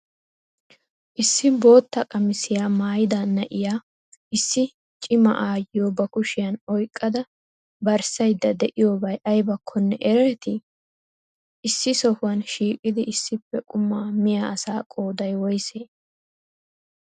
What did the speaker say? Issi bootta qammissiya maayida naa'iya issi cimaa ayyiyo ba kushiyan oyqqada barssaydda de'iyobaay aybaakkonne ereeti? issi sohuwan shiqqidi issippe quma miyyiya asaa qooday woysee?